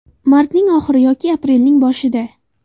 Martning oxiri yoki aprelning boshida.